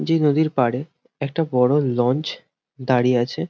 যে নদীর পাড়ে একটা বড় লঞ্চ দাঁড়িয়ে আছে।